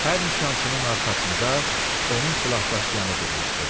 Hər nişancının arxasında onun silahdaşıyanı durmuşdu.